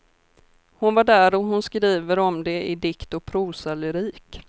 Hon var där och hon skriver om det i dikt och prosalyrik.